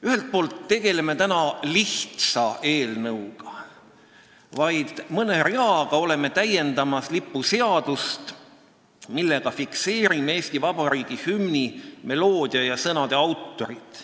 Ühelt poolt me tegeleme täna lihtsa eelnõuga: oleme vaid mõne reaga täiendamas lipuseadust, millega fikseerime Eesti Vabariigi hümni meloodia ja sõnade autorid.